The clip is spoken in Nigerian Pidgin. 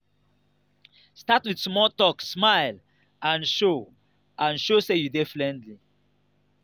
start with small talk smile and show and show say you dey friendly.